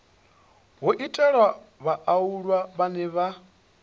ho itelwa vhaaluwa vhane vha